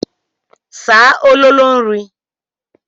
Saa ololo nri.